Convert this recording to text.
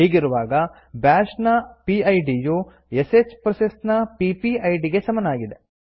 ಹೀಗಿರುವಾಗ ಬ್ಯಾಷ್ ನ ಪಿಡ್ ಯು ಶ್ ಪ್ರೋಸೆಸ್ ನ ಪಿಪಿಐಡಿ ಗೆ ಸಮನಾಗಿದೆ